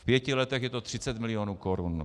V pěti letech je to 30 milionů korun.